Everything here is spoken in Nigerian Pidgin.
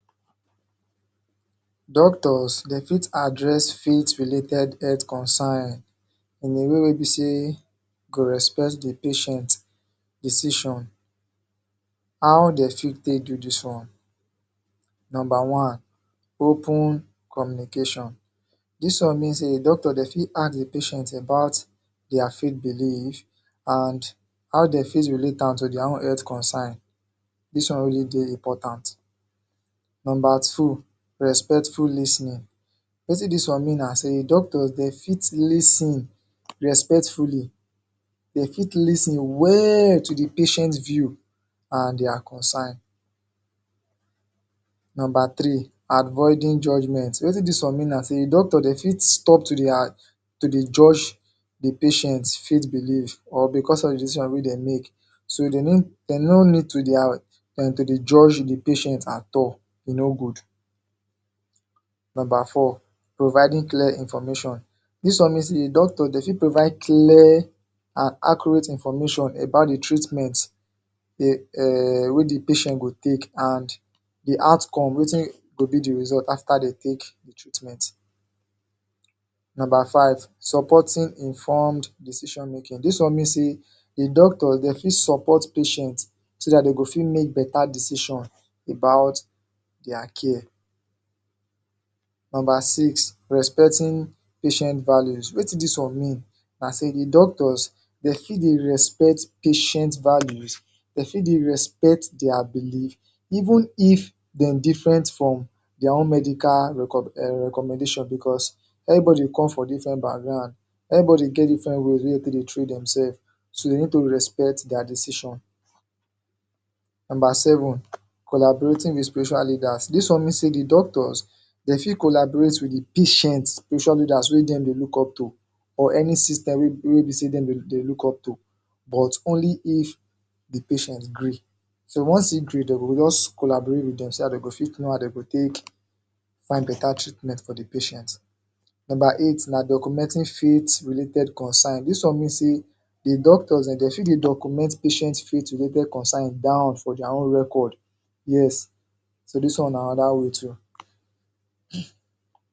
Doctors, dem fit address faith related health concern in a way wey be say go respect the patient decision. How dey fit take do this one? Number one, Open communication. This one mean say doctors dem fit ask the patient about their faith belief and how dem fit related to their own health concern this oen wey dey dey important. Number two, respectful lis ten er. Wetin this one mean na say doctors dey fit lis ten respectfully dey fit lis ten well to the patient view and their concern. Number three, avoiding judgement. Wetin this one mean na say doctors dey fit stop to dey um to dey judge the patient faith belief or because of decision wey dey make so they need dey no need to dey um than to dey judge the patient at all, e no good. Number four, providing clear information. This one mean say doctor dem fit provide clear and accurate information about the treatment dey um wey the patient go take and the outcome wetin go be the result after they take treatment. Number five, supporting informed decision making this one mean say the doctors dey fit support patient so that dey go fit make better decision about their care. Number six, respecting patient value. Wetin this one mean na say the doctors dey fit dey respect patient values dey fit dey respect their belief even if dem different from their own medical reco.. um recommendation becuase everybody come from different background everybody get different ways wey dem take dey train themselves so you need to respect their decision. Number seven, collaborating the spiritual leaders. This one mean say the doctors dey fit collaborate with the patients spirital leaders wey dem dey look up to or any system wey.... wey be say dem um dey look up to but only if the patient gree. So once e gree dey go just collaborate wit themself so dey go fit know how dey go take find better treatment for the patient. Number eight na documenting field related concern. This one mean say the doctors dem dey fit they document patient field related concern dat one for their own record, yes, so this one na another way too.